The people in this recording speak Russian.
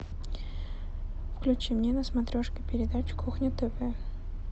включи мне на смотрешке передачу кухня тв